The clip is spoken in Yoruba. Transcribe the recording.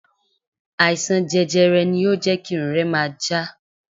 Àìsàn jẹjẹrẹ ni ó jẹ́ kí irun rẹ máa já.